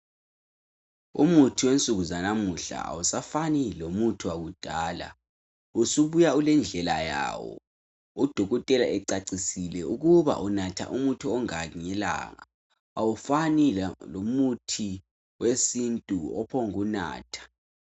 Umuthi wensuku zanamuhla awusafani lomuthi wakudala usubuya ulendlela yawo odokotela becacisile ukuba unatha umuthi onganani ngelanga awufani lomuthi wesintu ophombu kunatha